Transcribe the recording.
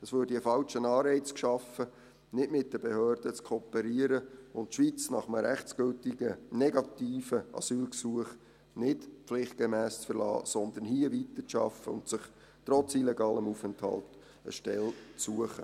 Es würde ein falscher Anreiz geschaffen, nicht mit den Behörden zu kooperieren und die Schweiz nach einem rechtsgültigen negativen Asylgesuch nicht pflichtgemäss zu verlassen, sondern hier weiterzuarbeiten und sich trotz illegalem Aufenthalt eine Stelle zu suchen.